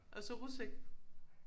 Og så rus ik